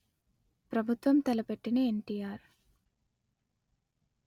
ప్రభుత్వం తలపెట్టిన ఎన్టీఆర్